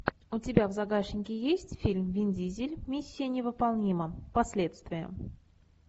у тебя в загашнике есть фильм вин дизель миссия невыполнима последствия